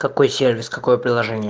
какой сервис какое приложение